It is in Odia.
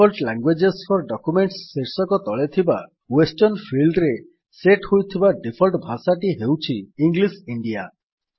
ଡିଫଲ୍ଟ ଲ୍ୟାଙ୍ଗୁଏଜ ଫୋର ଡକ୍ୟୁମେଣ୍ଟସ ଶୀର୍ଷକ ତଳେ ଥିବା ୱେଷ୍ଟର୍ନ ଫିଲ୍ଡ୍ ରେ ସେଟ୍ ହୋଇଥିବା ଡିଫଲ୍ଟ୍ ଭାଷାଟି ହେଉଛି ଇଂଲିଶ ଇଣ୍ଡିଆ